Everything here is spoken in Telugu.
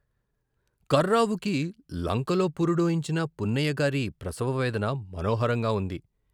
కర్రావుకి లంకలో పురుడోయించిన పున్నయ్యగారి ప్రసవ వేదన మనోహరంగా ఉంది.